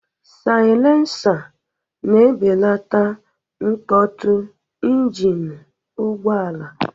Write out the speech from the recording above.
Saịlensa na-ebelata mkpọtụ njini ụgbọala.